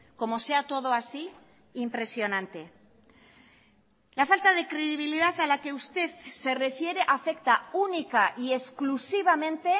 como sea todo así impresionante la falta de credibilidad a la que usted se refiere afecta única y exclusivamente